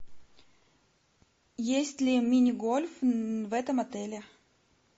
есть ли мини гольф в этом отеле